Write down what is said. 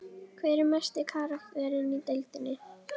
Hver er mesti karakterinn í deildinni?